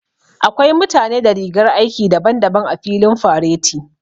Akwai mutane da rigar aiki daban-daban a filin fareti.